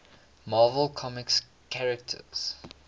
marvel comics characters